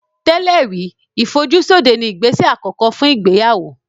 Tẹ́lẹ̀ rí ìfojúsóde ni ìgbésẹ̀ àkọ́kọ́ fún ìgbéyàwó